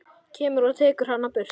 Kemur og tekur hana burt.